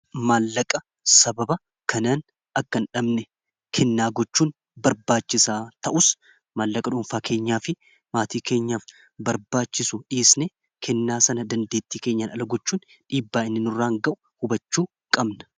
maallaqa sababa kanaan akka hin dhabne kennaa gochuun barbaachisaa ta'us maallaqa dhuunfaa keenyaa fi maatii keenyaaf barbaachisu dhiisne kennaa sana dandeettii keenyaan ala gochuun dhiibbaa'innin irraan ga'u hubachuu qabna